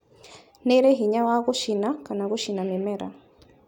Nĩirĩ hinya wa gũcina kana gũcina mĩmera